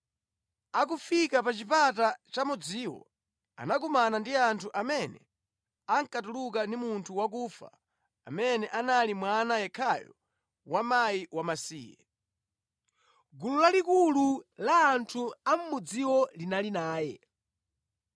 Akufika pa chipata cha mudziwo, anakumana ndi anthu amene ankatuluka ndi munthu wakufa amene anali mwana yekhayo wa mkazi wamasiye. Gulu lalikulu la anthu a mʼmudziwo linali naye.